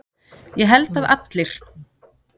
Ég held að allir.